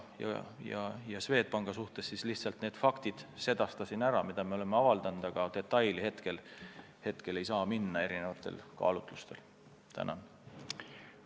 Mis puutub Swedbanki, siis ma lihtsalt viitasin infole, mis me oleme avaldanud, aga detailideni praegu erinevatel kaalutlustel minna ei saa.